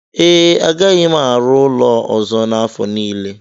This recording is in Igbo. ee, agaghị m arụ ụlọ ọzọ n'afọ a nile